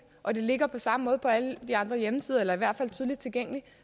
og det ligger på samme måde på alle de andre hjemmesider eller i hvert fald tydeligt tilgængeligt